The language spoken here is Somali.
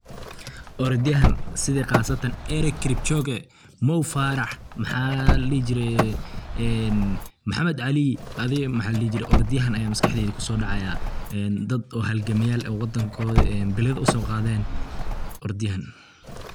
Orodyahan sidii qasatan eric kipchoge, mo Farah maxa ladhihi jire mohamed Ali adi maxa ladhihi jire orodyahan aya maskaxdeyda kuso dhacaya ,dad oo halgamayal eh oo wadankooda bilada uso qaaden. orod yahan